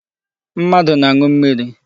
Mmadụ na-aṅụ mmiri.